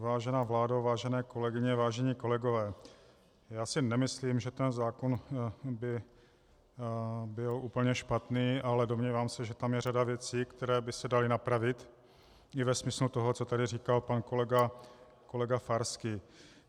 Vážená vládo, vážené kolegyně, vážení kolegové, já si nemyslím, že ten zákon by byl úplně špatný, ale domnívám se, že tam je řada věcí, které by se daly napravit i ve smyslu toho, co tady říkal pan kolega Farský.